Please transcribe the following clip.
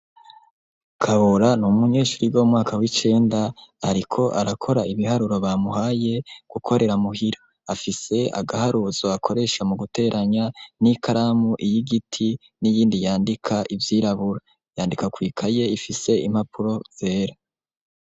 Kabura n'umunyeshure yiga mu mwaka w'icenda, ariko arakora ibiharuro bamuhaye gukorera muhira. Afise agaharuzo akoresha mu guteranya n'ikaramu y'igiti n'iyindi yandika ivyirabura. Yandika kw'ikaye ifise impapuro zera.